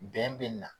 Bɛn bɛ na